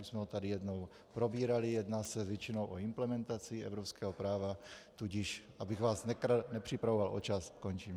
Už jsme ho tady jednou probírali, jedná se většinou o implementaci evropského práva, tudíž abych vás nepřipravoval o čas, končím.